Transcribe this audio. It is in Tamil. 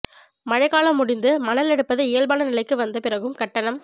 மழைக்காலம் முடிந்து மணல் எடுப்பது இயல்பான நிலைக்கு வந்த பிறகும் கட்டணம்